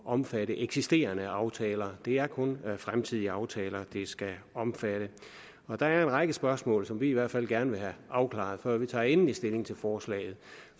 omfatte eksisterende aftaler det er kun fremtidige aftaler det skal omfatte og der er en række spørgsmål som vi i hvert fald gerne vil have afklaret før vi tager endelig stilling til forslaget